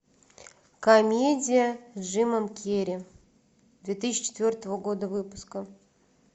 комедия с джимом керри две тысячи четвертого года выпуска